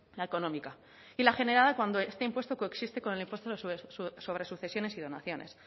la económica y la generada cuando este impuesto coexiste con el impuesto sobre sucesiones y donaciones